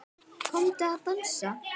Komdu að dansa